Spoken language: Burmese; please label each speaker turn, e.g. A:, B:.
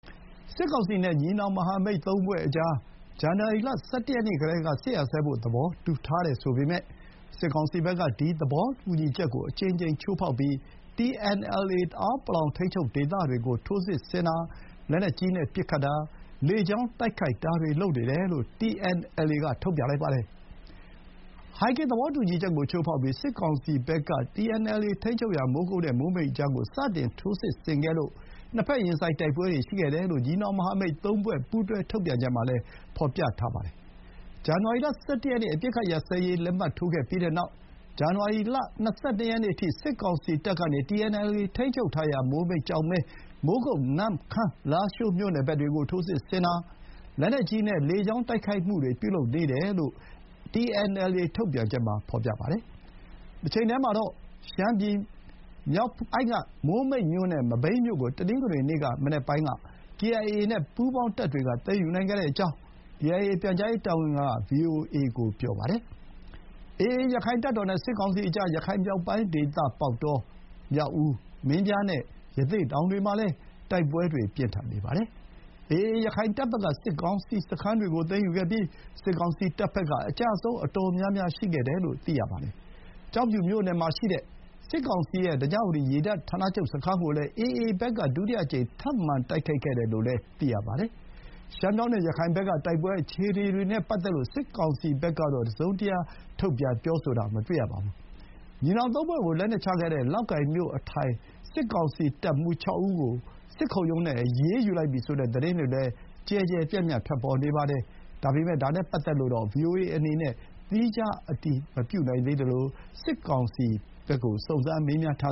A: စစ်ကောင်စီနဲ့ ညီနောင်မဟာမိတ်သုံးဖွဲ့ကြား ဇန်နဝါရီလ ၁၁ ရက်နေ့ကတည်းက စစ်ရပ်စဲဖို့ သဘောတူထားတယ်ဆိုပေမယ့် စစ်ကောင်စီဘက်က ဒီ သဘောတူညီချက်ကို အကြိမ်ကြိမ်ချိုးဖောက်ပြီး TNLA တအောင်းပလောဝ် ထိန်းချုပ်ဒေသတွေကို ထိုးစစ်ဆင်တာ၊ လက်နက်ကြီးနဲ့ပစ်ခတ်တာ၊ လေကြောင်းတိုက်ခိုက်တာတွေ လုပ်နေတယ်လို့ TNLA က ထုတ်ပြန်ပါတယ်။ ဟိုင်ဂင်သဘောတူညီချက်ကို ချိုးဖောက်ပြီး စစ်ကောင်စီဘက်က TNLA ထိန်းချုပ်ရာ မိုးကုတ်နဲ့မိုးမိတ်ကြားမှာာ စတင်ထိုးစစ်ဆင်ခဲ့လို့ နှစ်ဘက်ရင်ဆိုင်တိုက်ပွဲတွေရှိခဲ့တယ်လို့ ညီနောင်မဟာမိတ်သုံးဖွဲ့ ပူးတွဲထုတ်ပြန်ချက်မှာလည်း ဖော်ပြပါတယ်။ ဇန်နဝါလရီလ ၁၁ ရက်နေ့ အပစ်ခတ်ရပ်စဲရေးလက်မှတ် ထိုးခဲ့ပြီးနောက် ဇန်နဝါရီလ ၂၂ ရက်နေ့အထိ စစ်ကောင်စီတပ်ကနေ TNLA ထိန်းချုပ်ထားရာ မိုးမိတ်၊ ကျောက်မဲ၊ မိုးကုတ်၊ နမ့်ခမ်း၊ လားရှိးမြိုနယ်ဘက်တွေကို ထိုးစစ်ဆင်တာ၊ လက်နက်ကြီးနဲ့ လေကြောင်းတိုက်ခိုက်မှုတွေ ပြုလုပ်နေတယ်လို့ TNLA ထုတ်ပြန်ချက်မှာဖော်ပြပါတယ်။ တချိန်တည်းမှာတော့ ရှမ်းပြည်နယ်မြောက်ပိုင်းက မိုးမိတ်မြို့နဲ့ မဘိမ်းမြို့ကို တနင်္ဂနွေနေ့ မနက်ပိုင်းက KIA နဲ့ ပူးပေါင်းတပ်တွေက သိမ်းယူနိုင်ခဲ့ကြောင်း KIA ပြန်ကြားရေးတာဝန်ခံက VOA ကို ပြောခဲ့ပါတယ်။ AA ရခိုင့်တပ်တော်နဲ့ စစ်ကောင်စီကြား ရခိုင်မြောက်ပိုင်းဒေသ ပေါက်တော၊ မြောက်ဦး၊ မင်းပြားနဲ့ ရသေ့တောင်တွေမှာလည်း တိုက်ပွဲတွေပြင်းထန်နေပါတယ်။ AA ရခိုင်တပ်ဘက်က စစ်ကောင်စီစခန်းတွေကို သိမ်းယူခဲ့ပြီး စစ်ကောင်စီတပ်ဘက်က အကျအဆုံးအတော်များများရှိခဲ့တယ်လို့ သိရပါတယ်။ ကျောက်ဖြူမြို့နယ်မှာရှိတဲ့ စစ်ကောင်စီရဲ့ ဓညဝတီရေတပ်ဌာနချုပ်စခန်းကိုလည်း AA ဘက်က ဒုတိယအကြိမ်ထပ်မံတိုက်ခိုက်ခဲ့တယ်လို့လည်း သိရပါတယ်။ ရှမ်းမြောက်နဲ့ ရခိုင်ဘက်က တိုက်ပွဲအခြေအနေတွေနဲ့ပတ်သက်လို့ စစ်ကောင်စီဘက်ကတော့ တစုံတရာထုတ်ပြန်ပြောဆိုတာ မတွေ့ရပါဘူး။ ညီနောင်သုံးဖွဲ့ကို လက်နက်ချခဲ့တဲ့ လောက်ကိုင်မြို့အထိုင် စစ်ကောင်စီရဲ့တပ်မှူး ၆ ဦးကို စစ်ခုံရုံးနဲ့အရေးယူလိုက်ပြီဆိုတဲ့ သတင်းတွေလည်း ကျယ်ကျယ်ပြန့်ပြန့်ထွက်ပေါ်နေပါတယ်။ ဒါနဲ့ပတ်သက်လို့တော့ VOA အနေနဲ့ သီးခြားအတည်မပြုနိုင်သေးသလို စစ်ကောင်စီဘက်ကို စုံစမ်းမေးမြန်းထာ